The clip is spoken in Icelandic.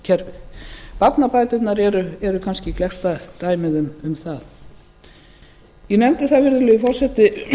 velferðarkerfið barnabæturnar eru kannski gleggsta dæmið um það ég nefndi það virðulegi forseti